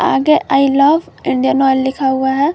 आगे I love Indian Oil लिखा हुआ है।